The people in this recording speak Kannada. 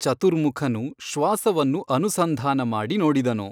ಚತುರ್ಮುಖನು ಶ್ವಾಸವನ್ನು ಅನುಸಂಧಾನ ಮಾಡಿ ನೋಡಿದನು.